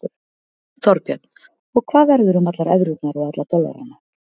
Þorbjörn: Og hvað verður um allar evrurnar og alla dollarana?